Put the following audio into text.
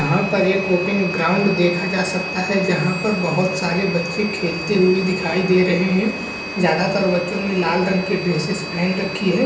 यहाँ पर एक ओपीन ग्राउंड देखा जा सकता है जहाँ पर बहुत सारे बच्चे खेलते हुए दिखाई दे रहे है ज्यादा तर बच्चों ने लाल रंग के ड्रेसेस पहन रखी है।